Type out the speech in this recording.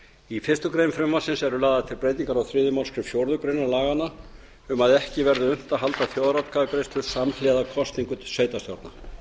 í fyrstu grein frumvarpsins eru lagðar til breytingar á þriðju málsgrein fjórðu grein laganna um að ekki verði unnt að halda þjóðaratkvæðagreiðslu samhliða kosningum til sveitarstjórna